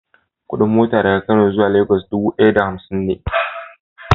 Kudin mota daga Kano zuwa Lagos dubu daya da hamsin ne.